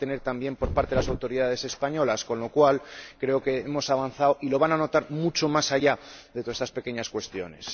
La van a tener también por parte de las autoridades españolas, con lo cual creo que hemos avanzado, y lo van a notar mucho más allá de todas estas pequeñas cuestiones.